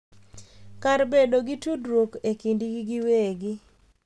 Kar bedo gi tudruok e kindgi giwegi.